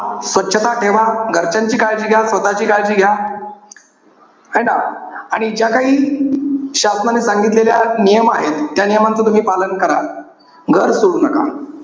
स्वछता ठेवा. घरच्यांची काळजी घ्या. स्वतःची काळजी घ्या. है ना? आणि ज्या काही शासनांनी सांगितलेल्या नियम आहेत. त्यां नियमांच तुम्ही पालन करा. घर सोडू नका.